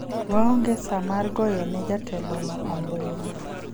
waonge saa mar goyo ne jatelo no ombulu